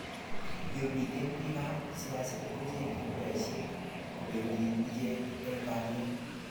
yo miten bikap siaset kochenge kuraishek, kobendi iche eng kelyek